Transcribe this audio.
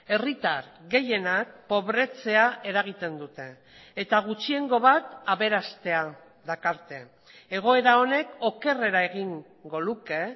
herritar gehienak pobretzea eragiten dute eta gutxiengo bat aberastea dakarte egoera honek okerrera egingo luke